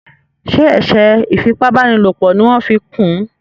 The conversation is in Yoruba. ṣe eṣe ifi ipá báni lọpọ ní wan fí kún?